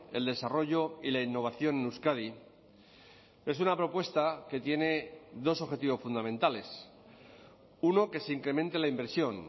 el desarrollo y la innovación en euskadi es una propuesta que tiene dos objetivos fundamentales uno que se incremente la inversión